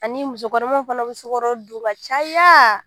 Ani musokɔnɔmaw fana bɛ sokaro don ka caya